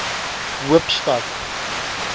hoopstad